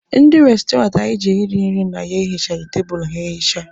Ndị restoranti anyị jere iri nri na ya ehichaghị tebulu ha ehicha.